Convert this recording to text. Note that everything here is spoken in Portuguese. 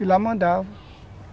E lá mandava.